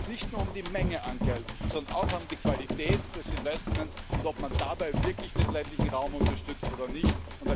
Es geht also nicht nur um die Menge an Geld, sondern auch um die Qualität der Investitionen und ob man dabei wirklich den ländlichen Raum unterstützt oder nicht.